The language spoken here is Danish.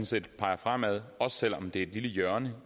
set peger fremad også selv om det er et lille hjørne